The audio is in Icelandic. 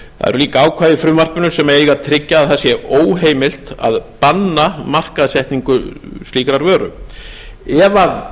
líka ákvæði í frumvarpinu sem eiga að tryggja að það sé óheimilt að banna markaðssetningu slíkrar vöru ef vara